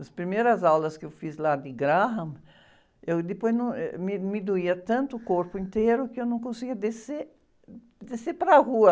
As primeiras aulas que eu fiz lá de Graham, eu depois num, eh, me, me doía tanto o corpo inteiro que eu não conseguia descer, descer para a rua.